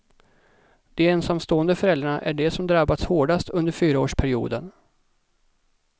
De ensamstående föräldrarna är de som drabbats hårdast under fyraårsperioden.